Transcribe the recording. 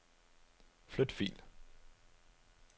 Flyt fil.